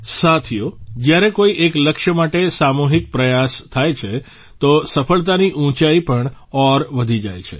સાથીઓ જ્યારે કોઇ એક લક્ષ્ય માટે સામૂહિક પ્રયાસ થાય છે તો સફળતાની ઉંચાઇ પણ ઔર વધી જાય છે